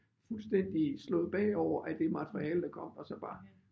Fuldstændig slået bagover af det materiale der kom og så bar